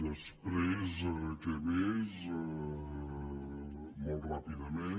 després què més molt ràpidament